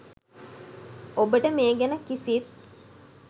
ඔබට මේ ගැන කිසිත්